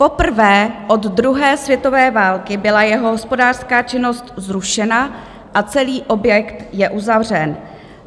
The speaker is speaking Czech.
Poprvé od druhé světové války byla jeho hospodářská činnost zrušena a celý objekt je uzavřen.